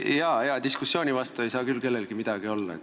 Jaa, hea diskussiooni vastu ei saa küll kellelgi midagi olla.